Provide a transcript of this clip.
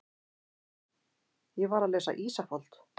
Ég var að lesa Ísafold.